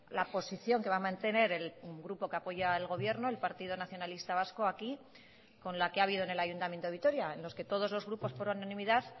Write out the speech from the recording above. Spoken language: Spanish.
la posición que va a mantener el grupo que apoya al gobierno el partido nacionalista vasco aquí con la que ha habido en el ayuntamiento de vitoria en los que todos los grupos por unanimidad